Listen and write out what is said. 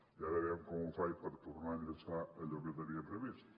i ara a veure com ho faig per tornar a enllaçar amb allò que tenia previst